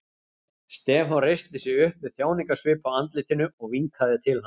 Stefán reisti sig upp með þjáningasvip á andlitinu og vinkaði til hans.